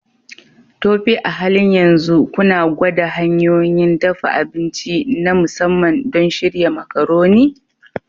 Tope, a halin yanzu kuna gwada hanyoyin dafa abinci na musamman don shirya Macaroni?